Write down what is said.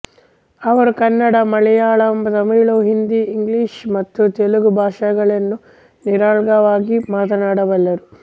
ಅವರು ಕನ್ನಡ ಮಲಯಾಳಂ ತಮಿಳು ಹಿಂದಿ ಇಂಗ್ಲಿಷ್ ಮತ್ತು ತೆಲುಗು ಭಾಷೆಗಳನ್ನು ನಿರರ್ಗಳವಾಗಿ ಮಾತನಾಡಬಲ್ಲರು